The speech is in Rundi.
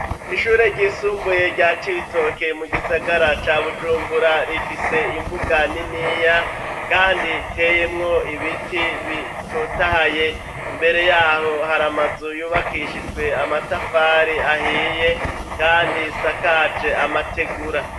Ishure ryisumbuye rya Cibitoke mu gisagara ca Bujumbura rifise imbuga niniya kandi iteyemwo ibiti bitotahaye imbere yaho hari amazu yubakishijwe amatafari ahiye kandi isakaje amategura.